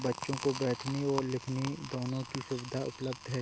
बच्चों को बैठने और लिखने दोनो की सुविधा उपलब्ध है।